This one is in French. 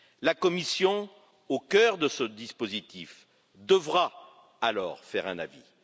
La Commission, au cœur de ce dispositif, devra alors donner un avis.